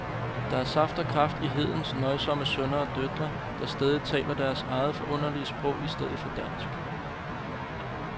Der er saft og kraft i hedens nøjsomme sønner og døtre, der stædigt taler deres eget forunderlige sprog i stedet for dansk.